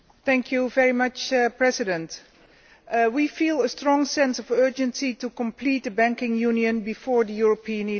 Mr President, we feel a strong sense of urgency to complete the Banking Union before the European elections.